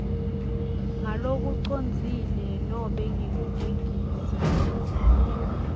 ngalokucondzile nobe ngekugegisa